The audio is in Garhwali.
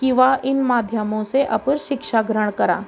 की वा इन माध्यमो से अपर शिक्षा ग्रहण करा ।